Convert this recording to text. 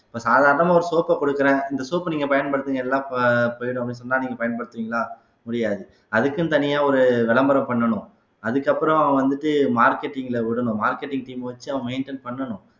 இப்ப சாதாரணமா ஒரு soap அ கொடுக்கிறேன் இந்த soap அ நீங்க பயன்படுத்துங்க எல்லாம் போயிடும் அப்படின்னு சொன்னா நீங்க பயன்படுத்துவீங்களா முடியாது அதுக்குன்னு தனியா ஒரு விளம்பரம் பண்ணணும் அது அதுக்கப்புறம் வந்துட்டு marketing ல விடணும் marketing team அ வச்சு அவங்க maintain பண்ணணும்